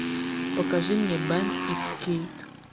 покажи мне бен и кейт